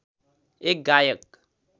एक गायक